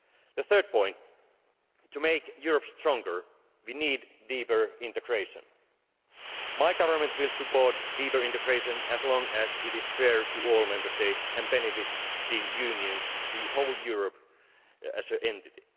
reforms. The third point is that to make Europe stronger, we need deeper integration. My government will support deeper integration as long as it is fair to all Member States and benefits the Union and the whole of Europe as